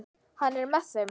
Hann er með þeim.